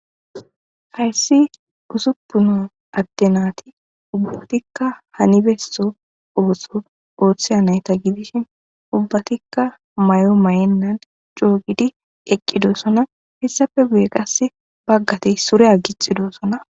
Hayssi usuppuna adtenaati ubbatikka hanibeesso ootho ooththeya nayta gidishi ubbatikka may7o may7ennan coogidi eqqidoosona hessafe guye qasse baggate sureya gixidoossona.